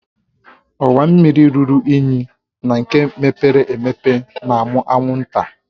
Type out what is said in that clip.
Ọwa mmiri ruru unyi na nke mepere emepe na-amụ anwụnta